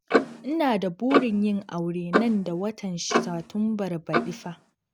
Ina da burin yin aure nan da watan Satumbar baɗi fa